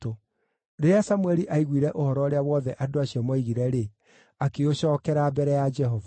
Rĩrĩa Samũeli aiguire ũhoro ũrĩa wothe andũ acio moigire-rĩ, akĩũcookera mbere ya Jehova.